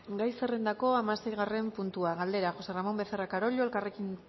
gai zerrendako hamaseigarren puntua galdera josé ramón becerra carollo elkarrekin